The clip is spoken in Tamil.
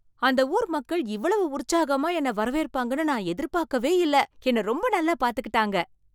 அந்த ஊர் மக்கள் இவ்வளவு உற்சாகமா என்னை வரவேற்பாங்கன்னு நான் எதிரே பாக்கல, என்னை ரொம்ப நல்லா பார்த்துக்கிட்டாங்க